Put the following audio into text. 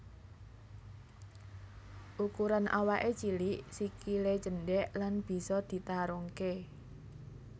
Ukuran awaké cilik sikilé cendhék lan bisa ditarungké